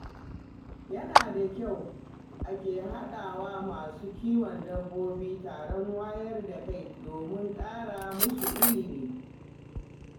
Yana da kyau ake haɗawa masu kiwon dabbobi taron wayar da Kai domin ƙara musu ilimi.